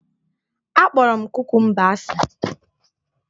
Akpọrọ m kukumba asị